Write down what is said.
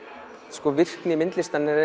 sko virkni myndlistarinnar er